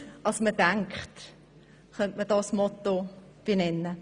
Seriöser als man denkt», könnte man dies als Motto benennen.